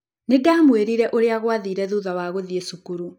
Nĩ ndamwĩrire ũrĩa gwathire thutha wa gũthiĩ cukuru.